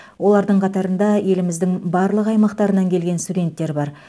олардың қатарында еліміздің барлық аймақтарынан келген студенттер бар